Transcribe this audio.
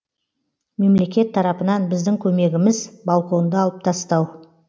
мемлекет тарапынан біздің көмегіміз балконды алып тастау